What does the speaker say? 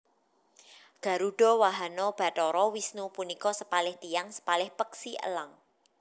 Garudha wahana bathara Wisnu punika sepalih tiyang sepalih peksi elang